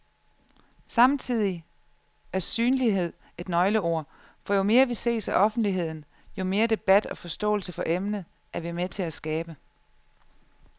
Samtidig er synlighed et nøgleord, for jo mere vi ses af offentligheden, jo mere debat og forståelse for emnet er vi med til at skabe.